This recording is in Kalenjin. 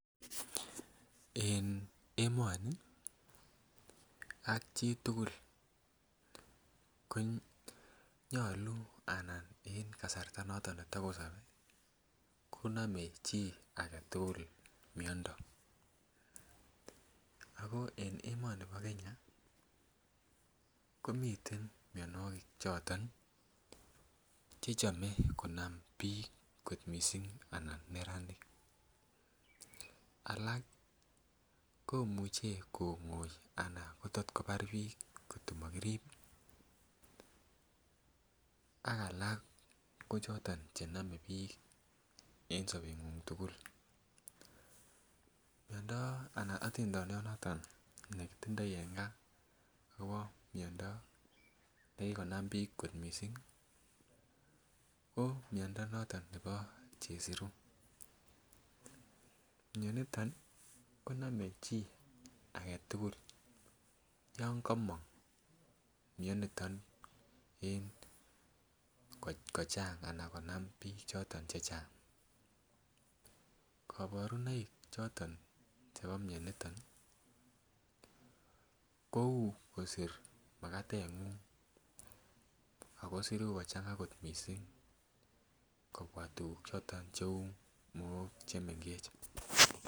En emoni ak chitugul konyolu anan en kasarta noton matokosoni konome chii aketugul miondo ako en emoni bo Kenya komiten mionwogik choton chechome konam biik kot missing anan neranik alak komuche kong'oi ana kotot kobar biik kotomokirib ak alak konome biik en sobet ng'ung tugul. Miondo anan otindoniot noton nekitindoi en gaa kobo miondo nekikonam biik kot missing ko miondo noton nebo chesiru, mioniton konome chi aketugul yon komong mioniton en kochang anan konam biik choton chechang, kaborunoik choton chebo mioniton kou kosir makatet ng'ung ako siru kochang'a kot missing kobwa tuguk choton cheu mook chemengech